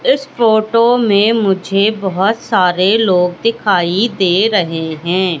इस फोटो में मुझे बहोत सारे लोग दिखाई दे रहे हैं।